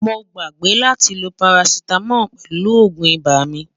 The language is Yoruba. mó gbàgbé látí ló paracetamol pèlú ògún ibà mí